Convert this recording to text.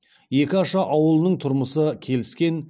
екі аша ауылының тұрмысы келіскен